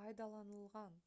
пайдаланылған